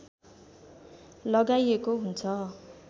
लगाइएको हुन्छ